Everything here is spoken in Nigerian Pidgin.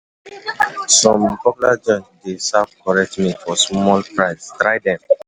Some popular joints dey serve correct meal for small price, try them.